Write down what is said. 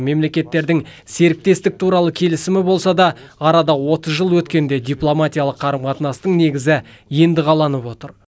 мемлекеттердің серіктестік туралы келісімі болса да арада отыз жыл өткенде дипломатиялық қарым қатынастың негізі енді қаланып отыр